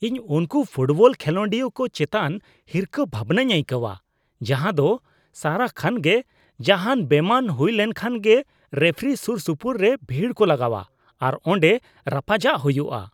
ᱤᱧ ᱩᱱᱠᱩ ᱯᱷᱳᱴᱵᱚᱞ ᱠᱷᱮᱞᱳᱰᱤᱭᱟᱹ ᱠᱚ ᱪᱮᱛᱟᱱ ᱦᱤᱨᱠᱟᱹ ᱵᱷᱟᱵᱱᱟᱧ ᱟᱹᱭᱠᱟᱹᱣᱟ ᱡᱟᱦᱟᱸ ᱫᱚ ᱥᱟᱨᱟ ᱠᱷᱚᱱᱜᱮ ᱡᱟᱦᱟᱱ ᱵᱮᱢᱟᱱ ᱦᱩᱭ ᱞᱮᱱᱠᱷᱟᱱ ᱜᱮ ᱨᱮᱯᱷᱨᱤ ᱥᱩᱨᱼᱥᱩᱯᱩᱨ ᱨᱮ ᱵᱷᱤᱲ ᱠᱚ ᱞᱟᱜᱟᱣᱟ ᱟᱨ ᱚᱸᱰᱮ ᱨᱟᱯᱟᱪᱟᱜ ᱦᱩᱭᱩᱜᱼᱟ ᱾